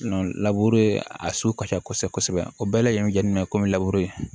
a so ka ca kosɛbɛ kosɛbɛ o bɛɛ lajɛlen jateminɛ komi